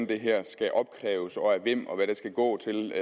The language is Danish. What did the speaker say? det her skal opkræves og af hvem og hvad det skal gå til